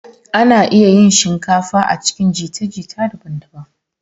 Ana iya yin shinkafa a cikin jita-jita daban-daban.